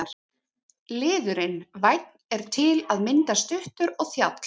Liðurinn- vænn er til að mynda stuttur og þjáll.